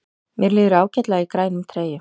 Mér líður ágætlega í grænum treyjum.